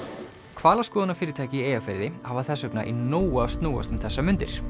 hvalaskoðunarfyrirtæki í Eyjafirði hafa þess vegna í nógu að snúast um þessar mundir